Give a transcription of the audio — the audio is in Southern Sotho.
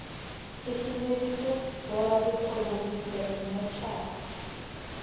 susumeditse borakgwebo ho bula dimmotjhara